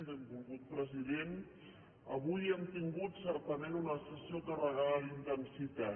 benvolgut president avui hem tingut certament una sessió carregada d’intensitat